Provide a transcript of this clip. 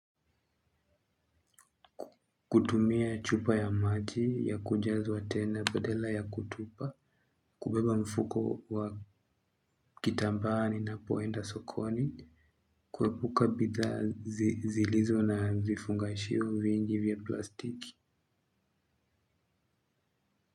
Kutumia chupa ya maji ya kujazwa tena badala ya kutupa, kubeba mfuko wa kitambaa ninapoenda sokoni. Kuepuka bidhaa zilizo na vifungashio vingi vya plastiki.